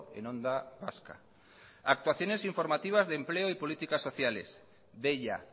en onda vasca actuaciones informativas de empleo y políticas sociales deia